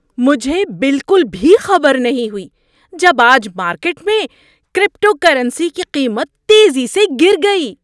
مجھے بالکل بھی خبر نہیں ہوئی جب آج مارکیٹ میں کریپٹوکرنسی کی قیمت تیزی سے گر گئی۔